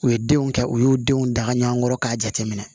U ye denw kɛ u y'u denw daga ɲɔgɔn kɔrɔ k'a jateminɛ